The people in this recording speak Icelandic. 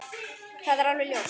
Það er alveg ljóst.